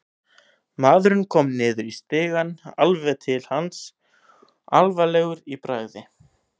Maðurinn kom niður í stigann, alveg til hans, alvarlegur í bragði.